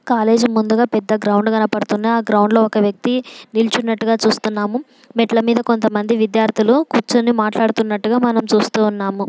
College ముందుగా పెద్ద ground కనబడుతుంది. ఆ గ్రౌండ్ లో ఒక వ్యక్తి నిలుచున్నట్టుగా చూస్తున్నాము. మెట్ల మీద కొంతమంది విద్యార్థులు కూర్చొని మాట్లాడుతున్నట్టుగా చూస్తూ ఉన్నాము.